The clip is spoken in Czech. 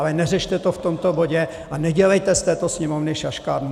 Ale neřešte to v tomto bodě a nedělejte z této Sněmovny šaškárnu.